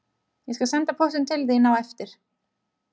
Ég skal senda póstinn til þín á eftir